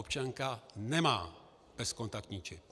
Občanka nemá bezkontaktní čip.